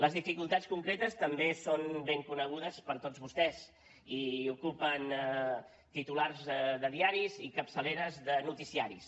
les dificultats concretes també són ben conegudes per tots vostès i ocupen titulars de diaris i capçaleres de noticiaris